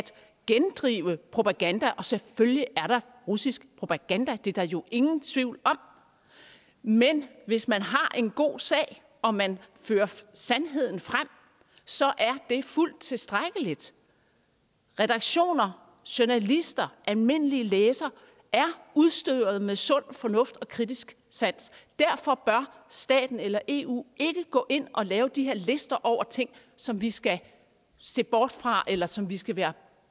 gendrive propaganda og selvfølgelig er der russisk propaganda det er der jo ingen tvivl om men hvis man har en god sag og man fører sandheden frem så er det fuldt tilstrækkeligt redaktioner journalister almindelige læsere er udstyret med sund fornuft og kritisk sans derfor bør staten eller eu ikke gå ind og lave de her lister over ting som vi skal se bort fra eller som vi skal være